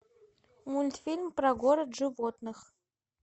мультфильм про город животных